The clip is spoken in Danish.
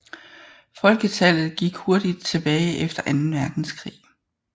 Folketallet gik hurtigt tilbage efter anden verdenskrig